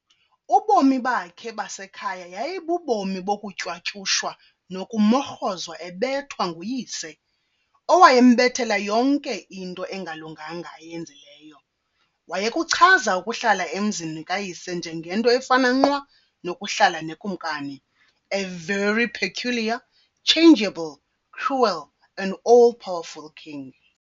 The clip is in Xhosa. Ubomi bakhe basekhaya yayibubomi "bokutywatyushwa nokumorhozwa ebethwa" nguyise, owayembethela yonke into engalunganga ayenzileyo. wayekuchaza ukuhlala emzini kayise njengento efana nqwa "nokuhlala nekumkani, a very peculiar, changeable, cruel and all powerful king".